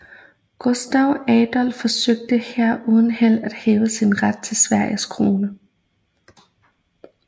Gustav Adolf forsøgte her uden held at hævde sin ret til Sveriges krone